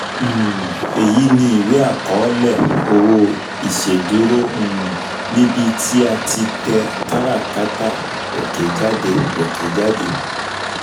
um Èyí ni ìwé àkọọ́lẹ̀ owó ìṣèdúró um níbi um tí a ti tẹ káràkátà òkè jáde òkè jáde